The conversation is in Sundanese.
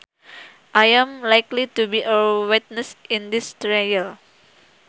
I am likely to be a witness in this trial